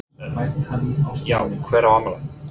Jón Örn: Já hver á afmæli?